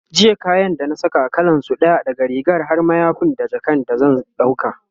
jiya kayan da na Saka, kalansu ɗaya, daga rigar har mayafi da jakan da zan dauka